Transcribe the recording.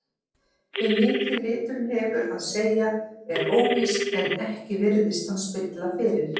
Hve mikið liturinn hefur að segja er óvíst en ekki virðist hann spilla fyrir.